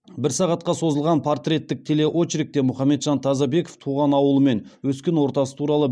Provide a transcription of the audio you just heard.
бір сағатқа созылған портреттік телеочеркте мұхамеджан тазабеков туған ауылы мен өскен ортасы туралы